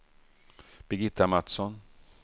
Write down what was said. Birgitta Mattsson